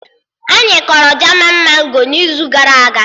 Anyị kọrọ jaman mango n'izu gara aga